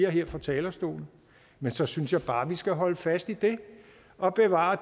her fra talerstolen men så synes jeg bare vi skal holde fast i det og bevare